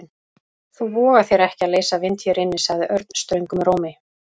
Þú vogar þér ekki að leysa vind hér inni sagði Örn ströngum rómi.